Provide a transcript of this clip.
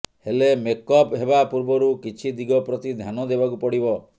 ହେଲେ ମେକ୍ଅପ୍ ହେବା ପୂର୍ବରୁ କିଛି ଦିଗ ପ୍ରତି ଧ୍ୟାନ ଦେବାକୁ ପଡ଼ିବ